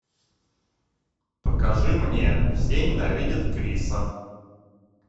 покажи мне все ненавидят криса